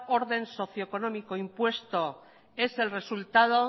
orden socio económico impuesto es el resultado